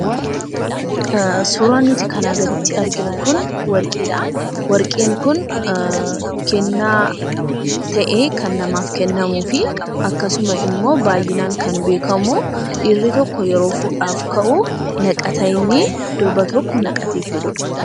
Suuraan nuti kanaa gaditti arginu kun warqiidha. Warqiin kun kennaa ta'ee kan namaaf kennamu fi akkasuma immoo baay'inaan kan beekamu dhiirri tokko yeroo fuudhaaf ka'uu naqata innii durba tokko naqatee fuudhudha.